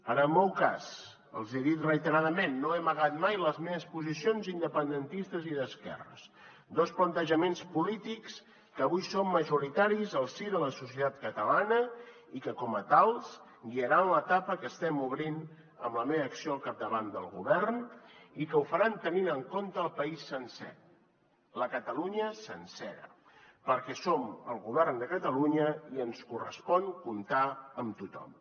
en el meu cas els hi he dit reiteradament no he amagat mai les meves posicions independentistes i d’esquerres dos plantejaments polítics que avui són majoritaris al si de la societat catalana i que com a tals guiaran l’etapa que estem obrint amb la meva acció al capdavant del govern i que ho faran tenint en compte el país sencer la catalunya sencera perquè som el govern de catalunya i ens correspon comptar amb tothom